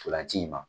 Ntolan ci in ma